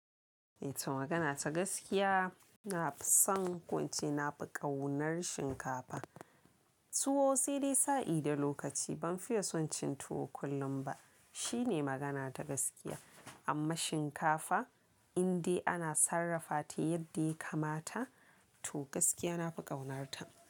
Eh, to magana ta gaskiya, na fi son ko ince na fi ƙaunar shinkafa. Tuwo sai dai sa'i da lokaci ban fiye son cin tuwo kullum ba. Shi ne magana ta gaskiya. Amma shinkafa indai ana sarrafa ta yadda ya kamata, to gaskiya na fi ƙaunarta.